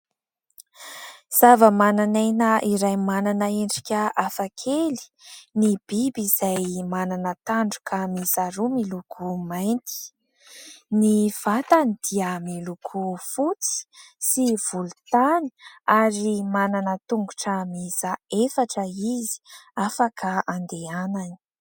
Zavamananaina iray manana endrika hafakely, ny biby izay manana tandroka miisa roa, miloko mainty. Ny vatany dia miloko fotsy sy volontany, ary manana tongotra miisa efatra izy, afaka andehanany.